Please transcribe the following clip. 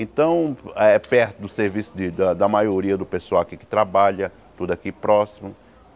Então é perto do serviço de da da maioria do pessoal aqui que trabalha, tudo aqui próximo.